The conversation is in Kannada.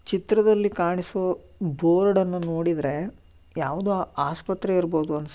ಚಿತ್ರದಲ್ಲಿ ಕಾಣಿಸೋ ಬೋರ್ಡ್ ಅನ್ನ ನೋಡಿದ್ರೆ ಯಾವದೋ ಆಸ್ಪತ್ರೆ ಇರಬಹುದು ಅನ್ಸುತ್ತೆ